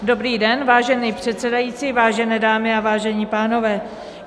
Dobrý den, vážený předsedající, vážené dámy a vážení pánové.